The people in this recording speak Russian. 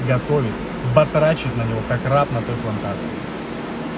готовит батрачит на него как раб на той плантации